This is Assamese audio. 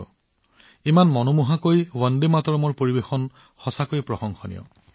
তেওঁলোকে যি সৌন্দৰ্য আৰু আত্মাৰ সৈতে বন্দে মাতৰম গাইছে সেয়া আশ্চৰ্যজনক আৰু প্ৰশংসনীয়